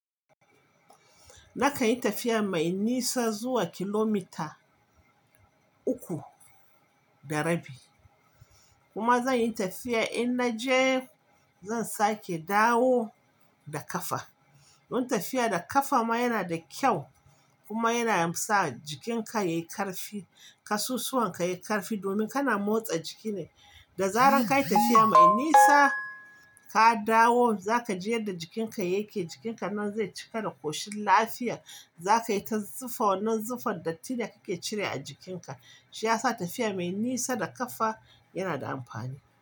Nakan yi tafiya mai nisa zuwa kilomita uku da rabi kuma zan yi tafiya in naje zan sake dawo da kafa. Don tafiya da kafa ma yana da kyau kuma yana sa jikinka yayi karfi, kasusuwan ka yayi karfi domin kana motsa jiki ne. Da zaran ka yi tafiya mai nisa, ka dawo za ka ji yadda jikinka yake, jikinka nan zai cika da ƙoshin lafiya. Za ka yi ta zufa wannan zufar dattin da kake cire a jikinka. Shi ya sa tafiya mai nisa da kafa yana da amfani.